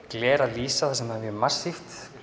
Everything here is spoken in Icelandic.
gler að lýsa þar sem það er mjög massíft